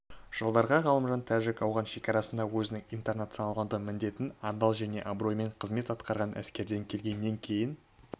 жылдарда ғалымжан тәжік-ауған шекарасында өзінің интернационалды міндетін адал және абыроймен қызмет атқарған әскерден келгеннен кейін